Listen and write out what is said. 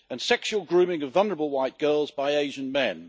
and sexual grooming of vulnerable white girls by Asian men.